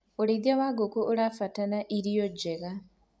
ũrĩithi wa ngũkũ ũrabatara irio njega